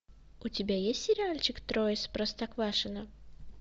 у тебя есть сериальчик трое из простоквашино